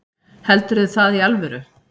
Heldurðu það í alvöru?